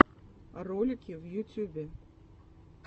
ролики в ютьюбе